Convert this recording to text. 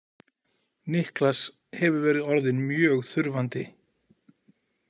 Niklas hefur verið orðinn mjög þurfandi.